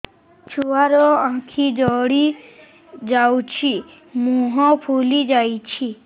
ଛୁଆର ଆଖି ଜଡ଼ି ଯାଉଛି ମୁହଁ ଫୁଲି ଯାଇଛି